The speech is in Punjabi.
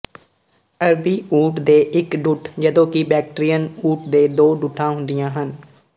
ਅਰਬੀ ਊਠ ਦੇ ਇੱਕ ਢੁੱਠ ਜਦੋਂ ਕਿ ਬੈਕਟਰੀਅਨ ਊਠ ਦੇ ਦੋ ਢੁੱਠਾਂ ਹੁੰਦੀਆਂ ਹਨ